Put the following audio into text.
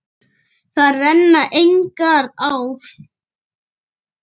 Þar renna engar ár.